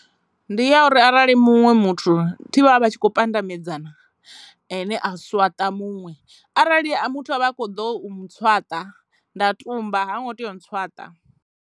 Ndi ya uri arali muṅwe muthu thi vha vha vha tshi kho pandamedzana ene a swaṱa muṅwe, arali muthu a vha a kho ḓo mutswaṱa nda tumba ha ngo tea u ntswaṱa.